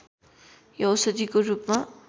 यो औषधिको रूपमा